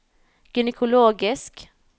gynekologisk